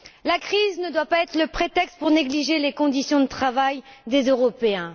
La crise ne doit pas être le prétexte pour négliger les conditions de travail des Européens.